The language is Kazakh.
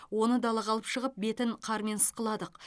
оны далаға алып шығып бетін қармен ысқыладық